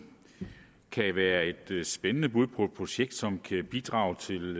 kan være et spændende bud på et projekt som kan bidrage til